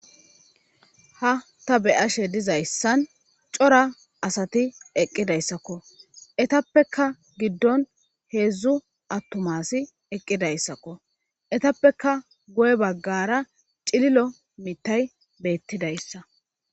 ha ta beyashe dizayssan cora asati eqqidayssakko etappeka giddon heedzdzu attumasi eqqidayssakko etappeka goy baggara cililo mitay beettidayssa